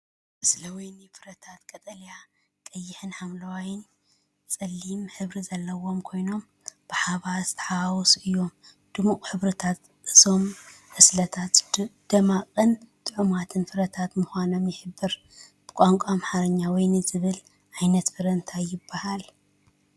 ዕስለ ወይኒ ፍረታት ቀጠልያ፡ ቀይሕን ሐምላይን (ጸሊም) ሕብሪ ዘለዎም ኮይኖም፡ ብሓባር ዝተሓዋወሱ እዮም። ድሙቕ ሕብርታት እዞም ዕስለታት ጽማቝን ጥዑማትን ፍረታት ምዃኖም ይሕብር። ብቋንቋ ኣምሓርኛ "ወይኒ" ዝብሃል ዓይነት ፍረ እንታይ ይበሃል?